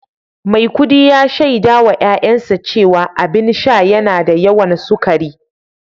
Maikudi ya shaida wa ’ya’yansa cewa abin sha yana da yawan sukari